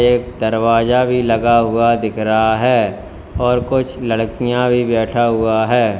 एक दरवाजा भी लगा हुआ दिख रहा है और कुछ लड़कियां भी बैठा हुआ है।